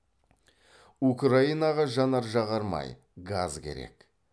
украинаға жанар жағармай газ керек